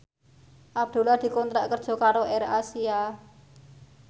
Abdullah dikontrak kerja karo AirAsia